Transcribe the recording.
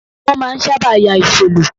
Wọn máa ń sábà yà ìsò lo